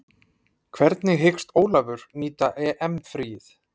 Hvernig hyggst Ólafur nýta EM fríið?